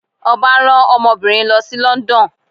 Ọba rán ọmọbinrin rẹ lo si London.